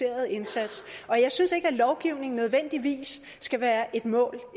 indsats og jeg synes ikke at lovgivning nødvendigvis skal være et mål